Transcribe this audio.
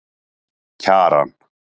Kjaran